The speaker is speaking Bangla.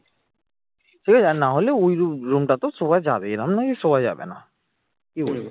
ঠিক আছে না হলে ওই room room টা তো শোয়া যাবেই এরকম নয় যে শোয়া যাবেনা কি বলিস?